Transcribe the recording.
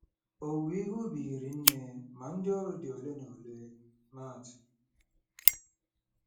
“Owuwe ihe ubi hiri nne, ma ndị ọrụ dị ole na ole .”—MAT.